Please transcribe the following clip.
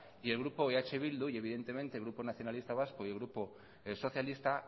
y el grupo eh bildu y evidentemente el grupo nacionalista vasco y el grupo socialista